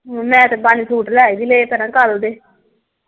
ਮੈਂ ਤੇ ਪੰਜ ਸੂਟ ਲੈ ਵੀ ਲਏ ਕੱਲ ਦੇ।